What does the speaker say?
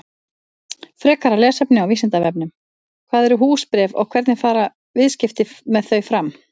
Frekara lesefni á Vísindavefnum: Hvað eru húsbréf og hvernig fara viðskipti með þau fram?